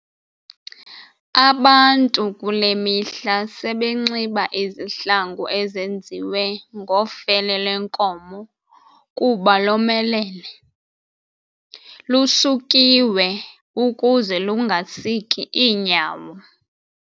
abantu kule mihla sebenxiba izihlangu ezenziwe ngofele lwenkomo kuba lomelele, lusukiwe ukuze kungasiki iinyawo.